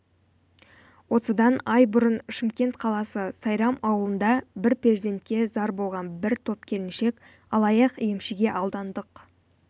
осыдан ай бұрын шымкент қаласы сайрам ауылында бір перзентке зар болған бір топ келіншек алаяқ-емшіге алдандық